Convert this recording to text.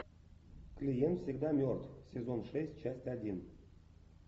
клиент всегда мертв сезон шесть часть один